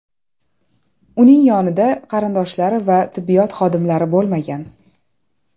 Uning yonida qarindoshlari va tibbiyot xodimlari bo‘lmagan.